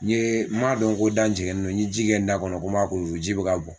N ye n man dɔn ko n da nin jɛngɛnnen no n ye ji kɛ n da kɔnɔ n ko n m'a kusu kusu ji bɛ ka bɔn.